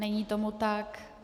Není tomu tak.